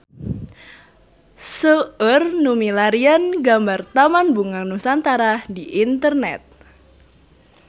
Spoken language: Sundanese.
Seueur nu milarian gambar Taman Bunga Nusantara di internet